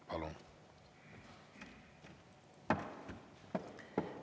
Palun!